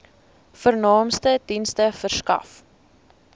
vernaamste dienste verskaf